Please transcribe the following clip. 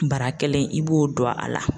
Bara kelen in i b'o don a la.